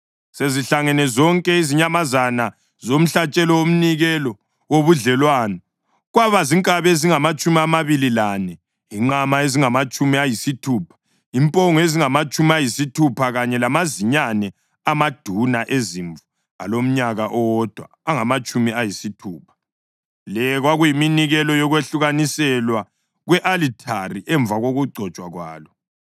Sezihlangene zonke izinyamazana zomhlatshelo womnikelo wobudlelwano kwaba zinkabi ezingamatshumi amabili lane, inqama ezingamatshumi ayisithupha, impongo ezingamatshumi ayisithupha kanye lamazinyane amaduna ezimvu alomnyaka owodwa angamatshumi ayisithupha. Le kwakuyiminikelo yokwahlukaniselwa kwe-alithari emva kokugcotshwa kwalo.